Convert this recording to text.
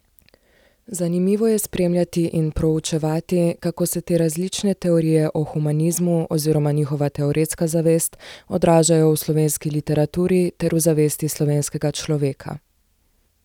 Zanimivo je spremljati in proučevati, kako se te različne teorije o humanizmu, oziroma njihova teoretska zavest, odražajo v slovenski literaturi ter v zavesti slovenskega človeka.